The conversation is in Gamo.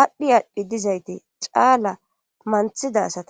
aadhdhi aadhdhi dizayti caala manthida asata